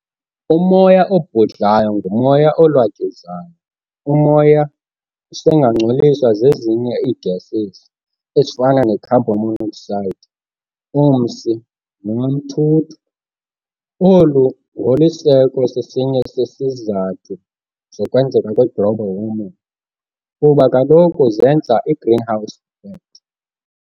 Umoya obhudlayo ngumoya olwatyuzayo. Umoya usengangcoliswa zezinye ii-gases, ezifana ne-carbon monoxide, umsi, noamthuthu. Olu ngoliseko sesinye sezizathu zokwenzeka kwe-global warming, kuba kaloku zenza i-"greenhouse effect".